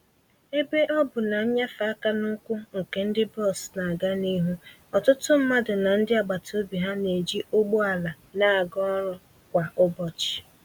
Ebe ọ bụ na mfanye aka n'ukwu nke ndi bọs na-aga n'ihu, ọtụtụ mmadụ na ndị agbata obi ha na-eji ụgbọ ala na-aga ọrụ kwa ụbọchị.